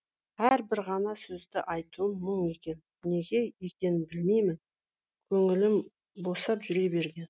әлі бір ғана сөзді айтуым мұң екен неге екенін білмеймін көңілім босап жүре берген